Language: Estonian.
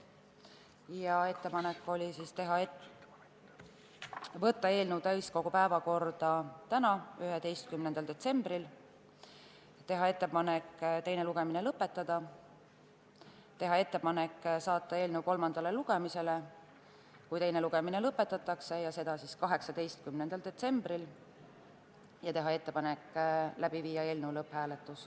Oli ettepanek saata eelnõu täiskogu päevakorda tänaseks, 11. detsembriks, teha ettepanek teine lugemine lõpetada, teha ettepanek saata eelnõu kolmandale lugemisele, kui teine lugemine lõpetatakse, 18. detsembriks ning panna eelnõu lõpphääletusele.